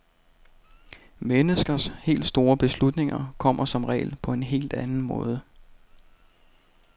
Menneskers helt store beslutninger kommer som regel på en helt anden måde.